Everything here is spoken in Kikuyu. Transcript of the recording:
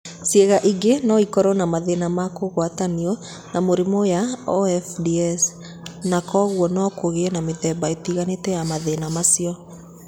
Ciĩga ingĩ no ikorũo na mathĩna ma kũgwatanio na mĩrimũ ya OFDS, na kwoguo no kũgĩe na mĩthemba ĩtiganĩte ya mathĩna macio.